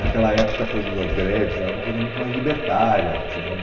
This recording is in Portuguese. Naquela época, a coisa das greves era uma coisa muito mais libertária, tinha um...